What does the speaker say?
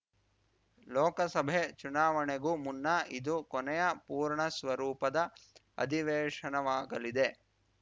ಲೋಕಸಭೆ ಚುನಾವಣೆಗೂ ಮುನ್ನ ಇದು ಕೊನೆಯ ಪೂರ್ಣಸ್ವರೂಪದ ಅಧಿವೇಶನವಾಗಲಿದೆ